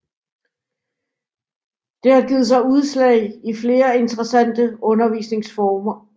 Det har givet sig udslag i flere interessante undervisningsformer